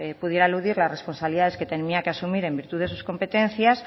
pudiera eludir las responsabilidades que tenía que asumir en virtud de sus competencias